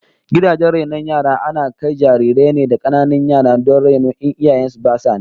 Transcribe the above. Gidajen rainon yara ana kai jarirai ne da kananan yara don raino in iyayen su basu nan